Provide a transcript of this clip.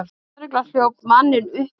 Lögregla hljóp manninn uppi.